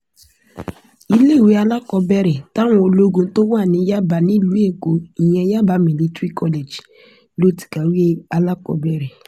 iléèwé alákọ̀ọ́bẹ̀rẹ̀ táwọn ológun tó wà ní yaba nílùú èkó ìyẹn yaba military college ló ti kàwé alákọ̀ọ́bẹ̀rẹ̀